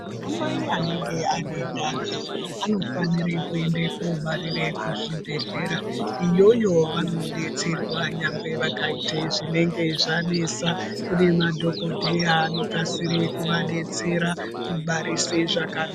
Anamai anenge anendani anifanire kuende kuobarire kuzvibhedhlera. Iyoyo vanodetserwa nyangwe vakaite zvinenge zvanesa, kune madhokodheya anokwanise kuvadetsera kubarise zvaka...